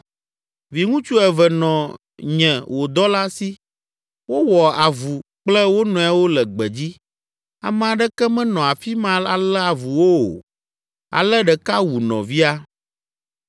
Viŋutsu eve nɔ nye, wò dɔla si. Wowɔ avu kple wo nɔewo le gbedzi; ame aɖeke menɔ afi ma alé avu wo o. Ale ɖeka wu nɔvia.